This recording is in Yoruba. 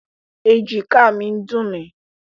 Èjìká mi ń dùn mí.